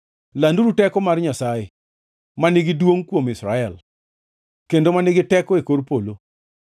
Landuru teko mar Nyasaye ma nigi duongʼ kuom Israel, kendo ma nigi teko e kor polo.